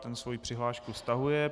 Ten svoji přihlášku stahuje.